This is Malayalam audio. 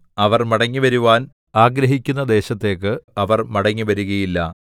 അവർ മടങ്ങിവരുവാൻ ആഗ്രഹിക്കുന്ന ദേശത്തേക്ക് അവർ മടങ്ങിവരുകയില്ല